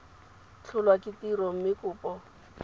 tlholwa ke tiro mme kopo